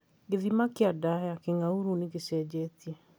Gĩthima kĩa nda ya kĩng'aurũ nĩ gĩcenjetie